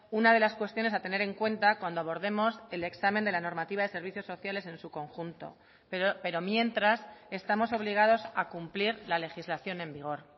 una de las cuestiones a tener en cuenta cuando abordemos el examen de la normativa de servicios sociales en su conjunto pero mientras estamos obligados a cumplir la legislación en vigor